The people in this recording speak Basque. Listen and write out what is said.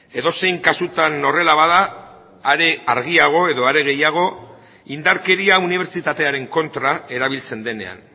edozein kasutan horrela bada are argiago edo are gehiago indarkeria unibertsitatearen kontra erabiltzen denean